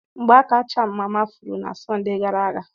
Ngbaaka cham mama furu na Sọnde gara aga.